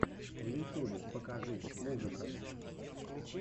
в ютюбе покажи музыка